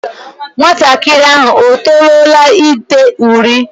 Nwatakịrị ahụ o toruola ide uri?